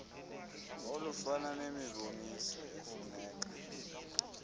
olufana nemiboniso efuneka